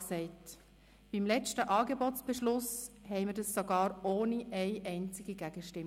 Beim letzten Angebotsbeschluss taten wir das sogar ohne eine einzige Gegenstimme.